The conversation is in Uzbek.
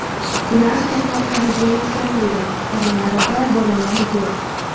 Ular kasalxonaga yetkazildi, oralarida bolalar yo‘q.